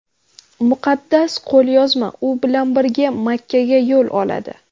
Muqaddas qo‘lyozma u bilan birga Makkaga yo‘l oladi.